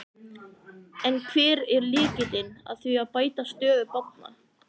En hver er lykillinn að því að bæta stöðu barna?